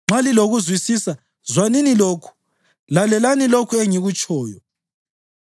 Nxa lilokuzwisisa, zwanini lokhu; lalelani lokhu engikutshoyo.